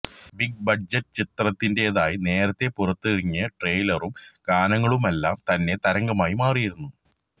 big budget ചിത്രത്തിന്റെതായി നേരത്തെ പുറത്തിറങ്ങിയ ട്രെയിലറും ഗാനങ്ങളുമെല്ലാം തന്നെ തരംഗമായി മാറിയിരുന്നു